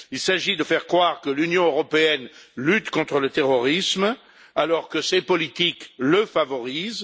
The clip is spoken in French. Il s'agit de faire croire que l'Union européenne lutte contre le terrorisme, alors que ses politiques le favorisent.